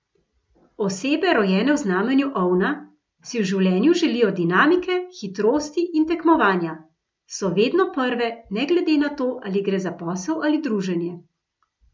Osebe, rojene v znamenju ovna, si v življenju želijo dinamike, hitrosti in tekmovanja, so vedno prve, ne glede na to, ali gre za posel ali druženje.